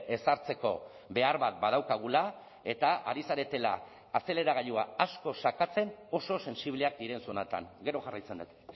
ezartzeko behar bat badaukagula eta ari zaretela azeleragailua asko sakatzen oso sentsibleak diren zonatan gero jarraitzen dut